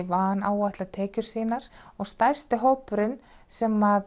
vanáætla tekjur sínar og stærsti hópurinn sem